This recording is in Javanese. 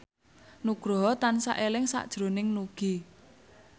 Nugroho tansah eling sakjroning Nugie